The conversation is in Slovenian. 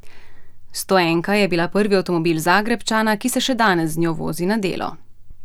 Stoenka je bila prvi avtomobil Zagrebčana, ki se še danes z njo vozi na delo.